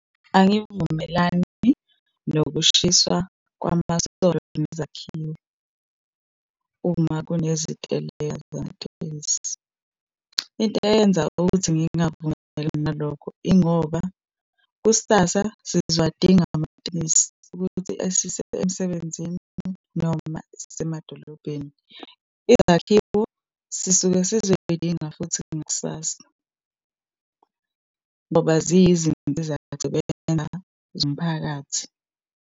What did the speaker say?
Angivumelani nokushiswa kwamasonto nezakhiwo, uma kuneziteleka zamatekisi. Into eyenza ukuthi ngingavumelani nalokho, ingoba kusasa sizowadinga amatekisi ukuthi esise emsebenzini, noma esise emadolobheni. Izakhiwo sisuke sizoyidinga futhi ngakusasa, ngoba ziyi zinto zomphakathi.